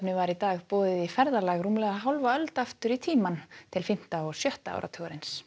var í dag boðið í ferðalag rúmlega hálfa öld aftur í tímann til fimmta og sjötta áratugarins